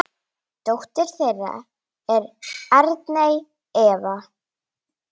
Dóttir þeirra er Arney Eva.